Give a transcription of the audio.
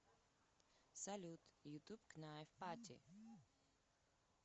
салют ютуб кнайф пати